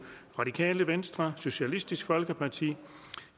radikale venstre socialistisk folkeparti